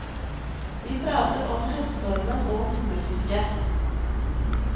Vi prater om høststormen og hummerfiske.